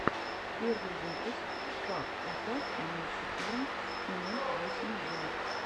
первый выпуск пак атак ноль четыре ноль восемь два